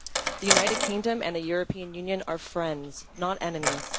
The United Kingdom and the European Union are friends, not enemies.